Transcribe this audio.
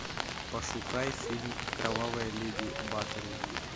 пошукай фильм кровавая леди батори